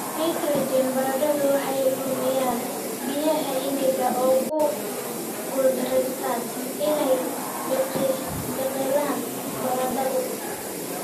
nitrogen, baradhadu waxay lumiyaan biyaha, engegaan oo ku guuldareystaan ??inay biqilaan, baradhada